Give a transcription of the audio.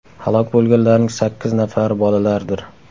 Halok bo‘lganlarning sakkiz nafari bolalardir.